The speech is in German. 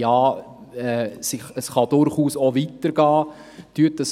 Ja, es kann durchaus auch weitergehen.